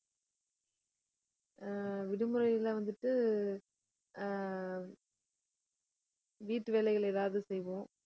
ஆஹ் விடுமுறையில வந்துட்டு ஆஹ் வீட்டு வேலைகள் ஏதாவது செய்வோம்